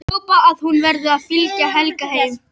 Hrópa að hún verði að fylgja Helga heim.